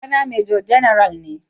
Kakana Major General ne.